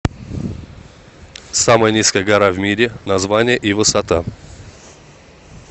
самая низкая гора в мире название и высота